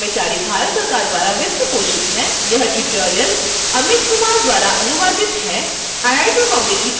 spoken tutorial project nmeict mhrd Bharat सरकार द्वारा वित्तपोषित है